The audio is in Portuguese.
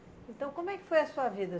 Então como é que foi a sua vida?